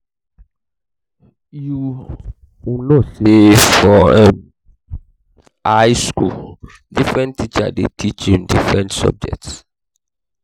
you um know sey for um um high skool differen teachers dey teach um different subject.